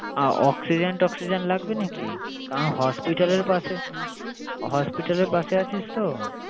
আহ Oxygen toxygen লাগবে নাকি? কারন hospital এর পাশে hospital এর পাশে আছিস তো।